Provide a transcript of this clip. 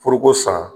Foroko san